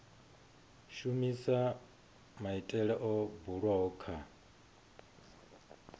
shumisa maitele o bulwaho kha